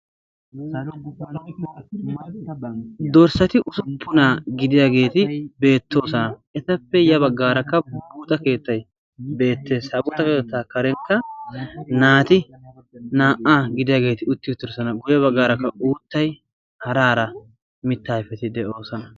Dorssati usuppunaa gidiyaageeti beettoosona. Etappe ya baggaarakka buuxa keettay beettees. Ha buuxa keettaa karenkka naati naa'aa gidiyaageeti utti uttidoosona. Guyye baggaarakka uuttay hara hara mitta ayfeti de'oosona.